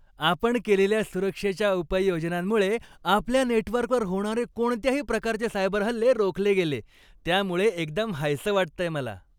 आपण केलेल्या सुरक्षेच्या उपाययोजनांमुळे आपल्या नेटवर्कवर होणारे कोणत्याही प्रकारचे सायबर हल्ले रोखले गेले, त्यामुळे एकदम हायसं वाटतंय मला.